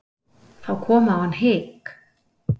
Þá kom á hann hik.